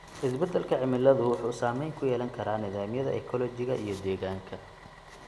Isbedelka cimiladu wuxuu saameyn ku yeelan karaa nidaamyada ekoolojiga iyo deegaanka.